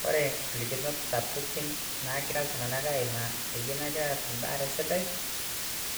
Kore nolikinot sapukin naagira ltunganak aimaa peyie emegira aas imbaare sidai